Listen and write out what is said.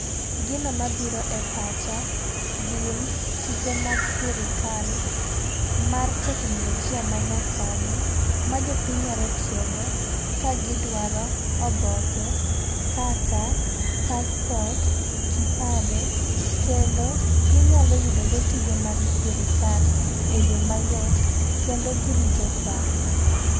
Gino mabiro e pacha gin tije mag sirikal mar teknolojia ma nya sani ma jopiny nyalo tiyo go kagidwaro oboke kaka passport, kipande. Kendo, ginyalo yudo go tije mag sirikal e yoo mayot kendo girito saa.